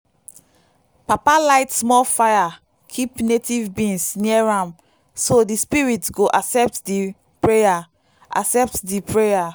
papa light small fire keep native beans near am so the spirits go accept the prayer. accept the prayer.